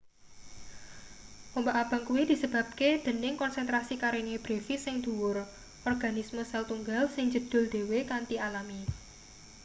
ombak abang kuwi disebabke dening konsentrasi karenia brevis sing dhuwur organisme sel-tunggal sing njedhul dhewe kanthi alami